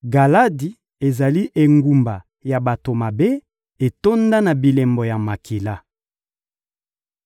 Galadi ezali engumba ya bato mabe, etonda na bilembo ya makila.